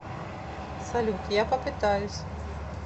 салют я попытаюсь